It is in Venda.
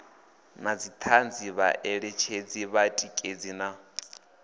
na dzithanzi vhaeletshedzi vhatikedzi na